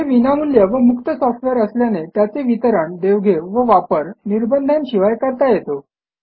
हे विनामूल्य व मुक्त सॉफ्टवेअर असल्याने त्याचे वितरण देवघेव व वापर निर्बंधांशिवाय करता येतो